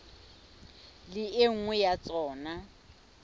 le e nngwe ya tsona